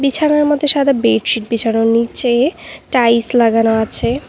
বিছানার মধ্যে সাদা বেডশিট বিছানো নীচে টাইলস লাগানো আছে।